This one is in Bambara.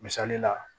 Misali la